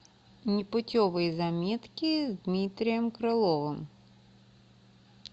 непутевые заметки с дмитрием крыловым